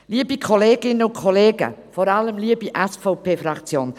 Liebe Kolleginnen und Kollegen, vor allem liebe SVP-Fraktion: